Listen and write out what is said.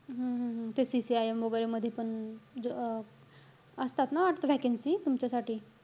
हम्म हम्म हम्म ते CCIM मध्ये वैगेरे पण, ज~ अं असतात ना वाटतं vaccancy तुमच्यासाठी?